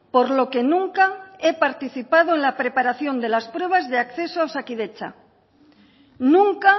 por lo que nunca he participado en la preparación de las pruebas de acceso a osakidetza nunca